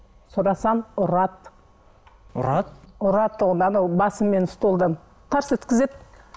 сұрасам ұрады ұрады ұра тұғын анау басыммен столдан тарс еткізеді